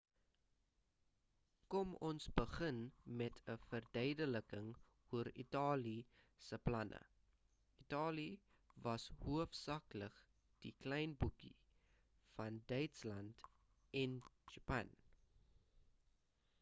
kom ons begin met 'n verduideliking oor italië se planne italië was hoofsaaklik die klein boetie van duitsland en japan